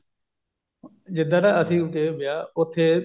ਜਿੱਧਰ ਅਸੀਂ ਗਏ ਵਿਆਹ ਉੱਥੇ